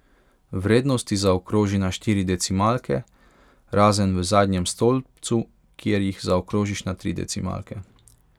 Vrednosti zaokroži na štiri decimalke, razen v zadnjem stolpcu, kjer jih zaokrožiš na tri decimalke.